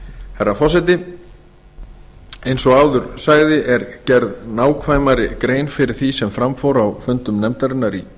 herra forseti eins og áður sagði er gerð nákvæmari grein fyrir því sem fram fór á fundum nefndarinnar í